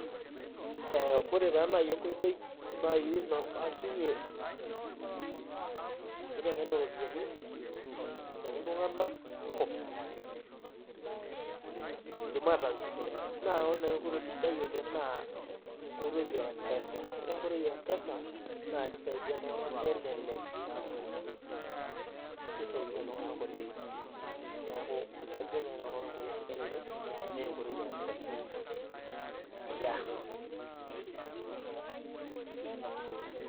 Eeh ore taa nai enkoitoi naai nabakinye enkiteng'ena oropiani abaki iltung'anak kumok peidim ataasishore naa ore nai enkoitoi sidai oleng' naa enkoitoi eempesa. Ore enkoitoi empesa naakeisaidia iltung'ana nelelek naa keisaidia iltung'anak oleng'. Neaku ajo nai nanu ore enkoitoi sidai oleng' neenkoitoi yeempesa. Yeah.